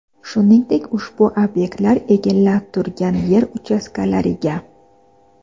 shuningdek ushbu ob’ektlar egallab turgan yer uchastkalariga.